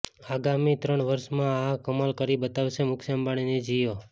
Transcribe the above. આગામી ત્રણ વર્ષમાં આ કમાલ કરી બતાવશે મુકેશ અંબાણીની જિયો